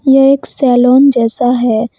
यह एक सैलून जैसा है।